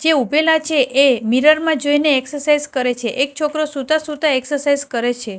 જે ઊભેલા છે એ મીરર મા જોઈને એક્સરસાઇઝ કરે છે એક છોકરો સુતા સુતા એક્સરસાઇઝ કરે છે.